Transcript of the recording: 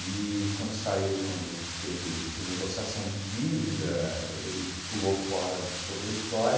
quando saiu, quando teve renegociação de dívida, ele pulou fora de toda a história.